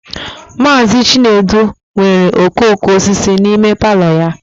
Mazị Chinedu nwere okooko osisi n'ime palọ ya